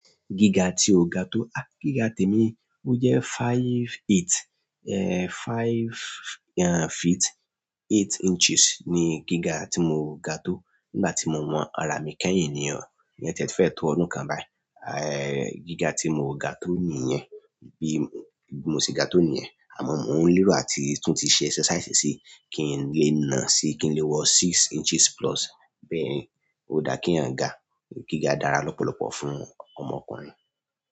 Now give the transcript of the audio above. Gíga tí o ga tó. Gíga tèmi, ó jẹ́ five eight, five feet eight inches ni gíga tí mo ga tó nígbà tí mo wọn ara mi kẹ́yìn ni o. Ìyẹn tiẹ̀ ti fẹ́ẹ̀ tó ọdún kan báyìí. Gíga tí mo ga tó nìyẹn, bí mo ṣe ga tó nìyẹn, àmọ́ mò ń lérò àti tún ti ṣe exercise síí kí n lè nà síi, kí n le wọ́ six inches plus. Bẹ́ẹ̀ni, ó dáa kéèyàn ga. Gíga dára lọ́pọ̀lọ́pọ̀ fún ọmọkùnrin.